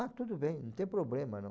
Ah, tudo bem, não tem problema, não.